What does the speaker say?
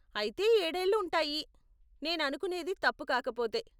అయితే ఏడేళ్ళు ఉంటాయి, నేను అనుకునేది తప్పు కాకపోతే.